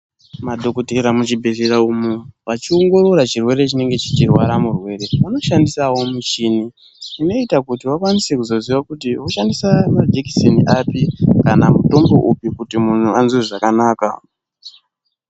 Madhokoteya muzvibhehleya umu vachiongorora chirwere chinenge cheirwra murwere vanoshandisa muchini unoita kuti vakwanise kuzoziva kuti voshandisa majekiseni api kana kuti mutombo upi unoita kuti muntu anzwe zvakanaka.